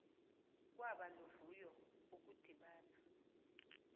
kwaba luvuyo ukudibana